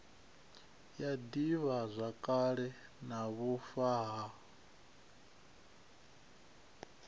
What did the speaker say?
ya divhazwakale na vhufa ha